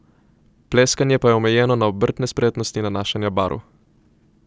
Pleskanje pa je omejeno na obrtne spretnosti nanašanja barv.